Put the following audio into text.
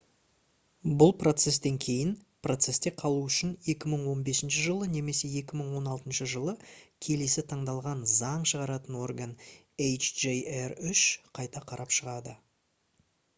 бұл процестен кейін процесте қалу үшін 2015 жылы немесе 2016 жылы келесі таңдалған заң шығаратын орган hjr-3 қайта қарап шығады